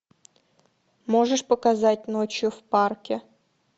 можешь показать ночью в парке